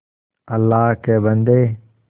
अल्लाह के बन्दे